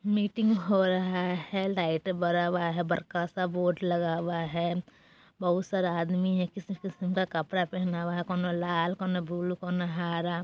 मीटिंग हो रहा है लाइट बरा हुआ है बड़का सा बोर्ड लगा हुआ है बहुत सारा आदमी है किस्म-किस्म का कपड़ा पहना हुआ है कोनो लाल कोनो बुलु कोनो हारा --